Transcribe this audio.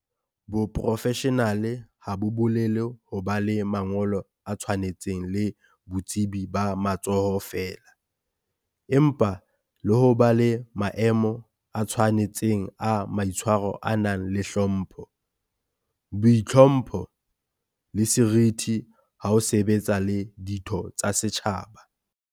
Boprofeshenale ha bo bolele ho ba le mangolo a tshwanetseng le botsebi ba matsoho feela, empa le ho ba le maemo a tshwane tseng a maitshwaro a nang le hlompho, boitlhompho, le seriti ha o sebetsa le ditho tsa setjhaba.